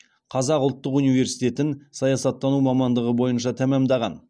қазақ ұлттық университетінің саясаттану мамандығы бойынша тәмамдаған